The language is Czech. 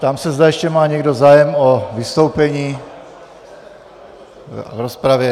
Ptám se, zda ještě má někdo zájem o vystoupení v rozpravě.